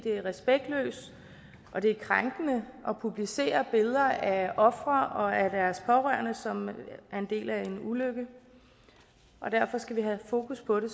er respektløst og det er krænkende at publicere billeder af ofre og af deres pårørende som er en del af en ulykke og derfor skal vi have fokus på det